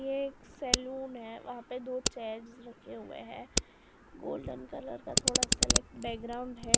ये एक सैलून है वहां पे दो चेयर्स रखे हुए हैं गोल्डन कलर का थोड़ा लेक बैकग्राउंड है।